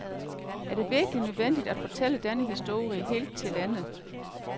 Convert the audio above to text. Er det virkelig nødvendigt at fortælle denne historie helt til ende?